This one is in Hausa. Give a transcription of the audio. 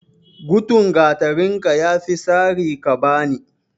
Gutun gatarinka, ya fi sari ka bani.